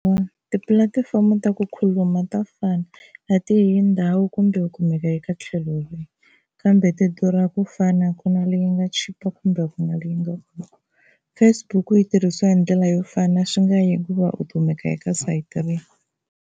Tipulatifomo ta ku khuluma to fana na ti hi ndhawu kumbe ku kumeka eka tlhelo rin'we, kambe ti durha ku fana a ku na leyi nga chipa kumbe ku na leyi nga durha. Faceook yi tirhisiwa hi ndlela yo fana swi nga yi hikuva u kumeka eka sayiti rihi.